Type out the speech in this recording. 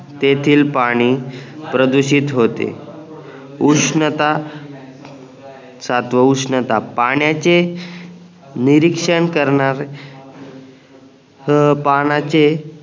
तेथील पाणी प्रदूषित होते उष्णता सातवा उष्णता पाण्याचे निरीक्षण करणार अह